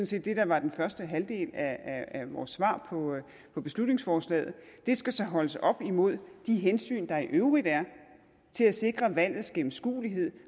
set det der var den første halvdel af vores svar på beslutningsforslaget det skal så holdes op imod de hensyn der i øvrigt er til at sikre valgets gennemskuelighed